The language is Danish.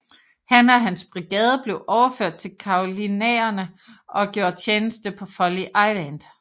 Han og hans brigade blev overført til Carolinaerne og gjorde tjeneste på Folly Island